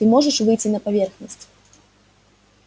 ты можешь выйти на поверхность